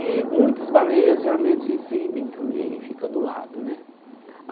E muitas baleias geralmente exibem também, fica do lado, né?